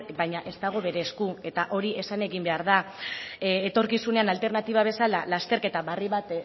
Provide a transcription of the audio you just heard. baina ez dago bere esku eta hori esan egin behar da etorkizunean alternatiba bezala lasterketa berri bat